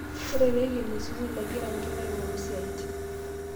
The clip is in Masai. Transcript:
Ore pee ekeni sukul, egira nkera aing'oru isiatin